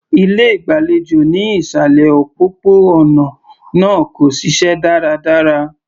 Ilé ìgbàlejò ní ìsàlẹ̀ òpópó-ònà náà kò ṣiṣẹ́ dáradára.